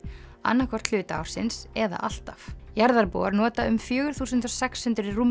annað hvort hluta ársins eða alltaf jarðarbúar nota um fjögur þúsund sex hundruð